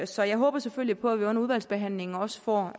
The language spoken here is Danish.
så jeg håber selvfølgelig på at vi under udvalgsbehandlingen også får